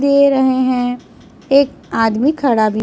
दे रहे हैं एक आदमी खड़ा भी--